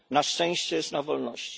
Na szczęście jest na wolności.